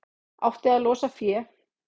Átti að losa fé